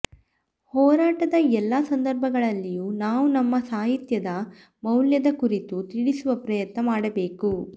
ಹೋರಾಟದಎಲ್ಲ ಸಂದರ್ಭಗಳಲ್ಲಿಯೂ ನಾವು ನಮ್ಮ ಸಾಹಿತ್ಯದ ಮೌಲ್ಯದಕುರಿತು ತಿಳಿಸುವ ಪ್ರಯತ್ನ ಮಾಡಬೇಕು